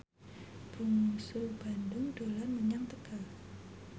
Bungsu Bandung dolan menyang Tegal